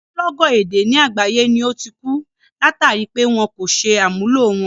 Ogúnlọ́gọ̀ èdè ni àgbáyé ni ó ti ku, látàri pé wọn kò ṣe àmúlò wọn.